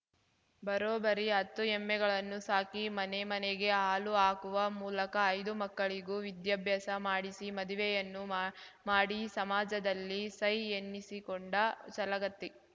ಬರೋಬ್ಬರಿ ಹತ್ತು ಎಮ್ಮೆಗಳನ್ನು ಸಾಕಿ ಮನೆ ಮನೆಗೆ ಹಾಲು ಹಾಕುವ ಮೂಲಕ ಐದು ಮಕ್ಕಳಿಗೂ ವಿದ್ಯಾಭ್ಯಾಸ ಮಾಡಿಸಿ ಮದುವೆಯನ್ನೂ ಮಾ ಮಾಡಿ ಸಮಾಜದಲ್ಲಿ ಸೈ ಎನ್ನಿಸಿಕೊಂಡ ಛಲಗತ್ತಿ